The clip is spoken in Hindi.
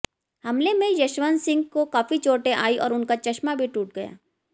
हमले में यशवंत सिंह को काफी चोटें आयी और उनका चश्मा भी टूट गया